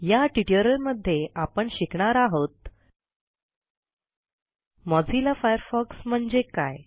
या ट्युटोरियलमध्ये आपण शिकणार आहोत मोझिल्ला फायरफॉक्स म्हणजे काय